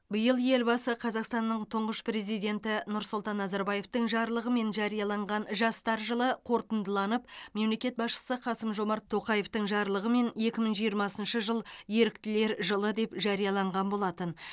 биыл елбасы қазақстанның тұңғыш президенті нұсұлтан назарбаевтың жарлығымен жарияланған жастар жылы қорытындыланып мемлекет басшысы қасым жомарт тоқаевтың жарлығымен екі мың жиырмасыншы еріктілер жылы жарияланған болатын